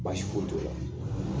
Baasi foyi t'o la.